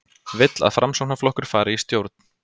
Vill að Framsóknarflokkur fari í stjórn